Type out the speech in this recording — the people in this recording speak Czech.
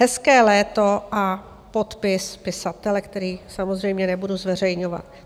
Hezké léto a podpis pisatele, který samozřejmě nebudu zveřejňovat.